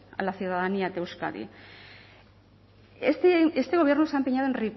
a la ciudadanía de euskadi este gobierno se ha empeñado en